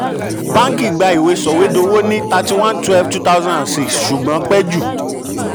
báǹkì gbà ìwé sọ̀wédowó ní thirty one twelve two thousand six ṣùgbọ́n pẹ́ jù.